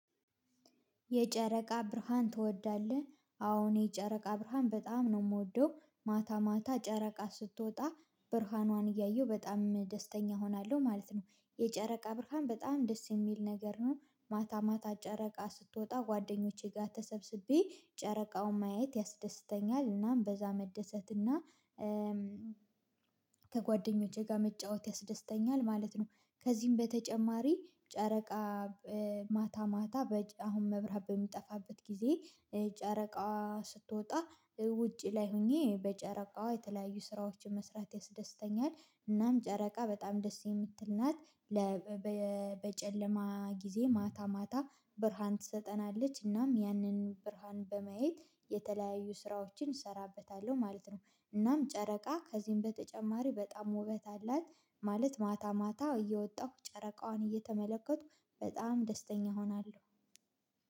የጨረቃ ብርሃን ትወዳለህ? አዎ እኔ ጨረቃ ብርሃን በጣም ነው የምወደው ማታ ማታ ጨረቃ ስትወጣ ብርሃኗን እያየሁ በጣም ደስተኛ እሆናለሁ ማለት ነው። የጨረቃ ብርሃን በጣም ደስ የሚል ነገር ነው። ማታ ማታ ጨረቃ ስትወጣ ጓደኞቼ ጋር ተሰብስቤ ጨረቃውን ማየት ያስደስተኛል እናም በዛ መደሰት እና ከጓደኞቼ ጋር መጫወት ያስደስተኛል ማለት ነው። ከዚህም በተጨማሪ ጨረቃ ማታ ማታ አሁን መብራት በሚጠፋበት ጊዜ ጨረቃ ስትወጣ ውጪ ላይ ሆኜ በጨረቃዋ የተለያዩ ስራዎችን መስራት ያስደስተኛል። እናም ጨረቃ በጣም ደስ የምትል ናት። ለ በጨለማ ጊዜ ማታ ማታ ብርሃን ትሰጠናለች እናም ያንን ብርሃን በማየት የተለያዩ ስራዎችን እሰራበታለሁ ማለት ነው። እናም ጨረቃ ከዚህም በተጨማሪ በጣም ውበት አላት። ማለት ማታ ማታ እየወጣሁ ጨረቃዋን እየተመለከትኩ በጣም ደስተኛ እሆናለሁ፤